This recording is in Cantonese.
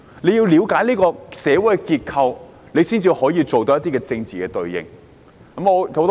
她要了解社會的結構，才能作出政治的應對。